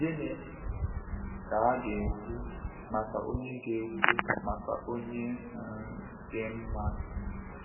Gịnị ka a ga-ekwu maka onye ga-ekwu maka onye um dị mma?